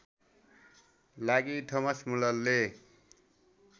लागि थोमस म्युलरले